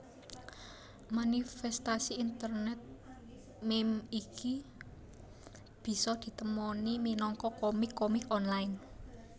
Manifèstasi internet meme iki bisa ditemoni minangka komik komik online